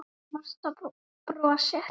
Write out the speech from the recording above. Marta brosir.